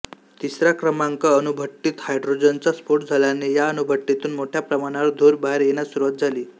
तिसऱ्या क्रमांक अणुभट्टीत हायड्रोजनचा स्फोट झाल्याने या अणुभट्टीतून मोठ्या प्रमाणावर धूर बाहेर येण्यास सुरुवात झाली